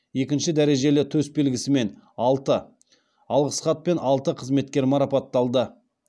екінші дәрежелі төсбелгісімен алты алғыс хатпен алты қызметкер марапатталды